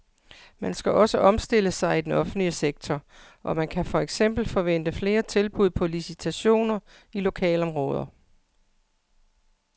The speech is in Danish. Man skal også omstille sig i den offentlige sektor, og man kan for eksempel forvente flere tilbud på licitationer i lokalområder.